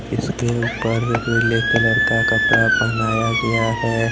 इसके ऊपर पीले कलर का कपड़ा पहनाया गया है।